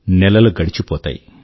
నెలలు గడిచిపోతాయి